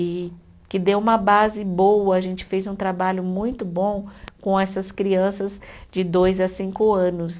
e que deu uma base boa, a gente fez um trabalho muito bom com essas crianças de dois a cinco anos.